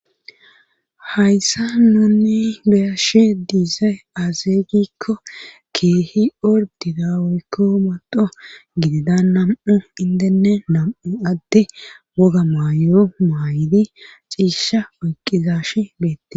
hayssa nuni beyashe diizay azeeygikko keehi ordidawoykko modo gidida nam7u indenne nam7u adde woga maayyo maayidi ciisha oyqizashi beette